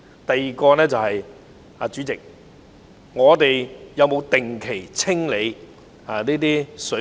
第二，政府有否定期清理水渠？